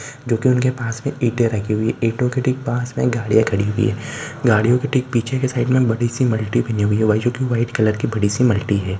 जो की उसके पास में ईंटे रखी हुई है ईंटे के ठीक पास मे गाड़ियां खड़ी हुई है गाड़ियों के ठीक पीछे के साइड बड़ी सी मल्टी बानी हुई है वही जो की व्हाइट कलर की बड़ी सी मल्टी है।